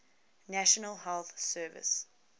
national health service